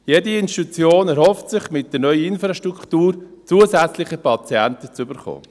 Jede Institution erhofft sich, mit der neuen Infrastruktur zusätzliche Patienten zu erhalten.